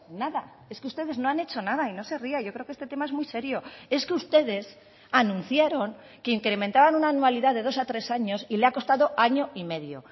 nada es que ustedes no han hecho nada y no se ría yo creo que este tema es muy serio es que ustedes anunciaron que incrementaban una anualidad de dos a tres años y le ha costado año y medio